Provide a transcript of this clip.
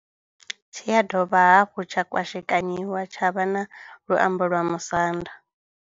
Tshi ya dovha hafhu tsha kwashekanyiwa tsha vha na luambo lwa Musanda.